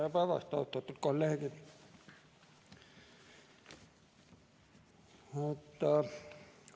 Tere päevast, austatud kolleegid!